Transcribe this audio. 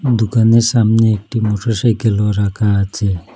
দুকানের সামনে একটি মোটরসাইকেলও রাখা আছে।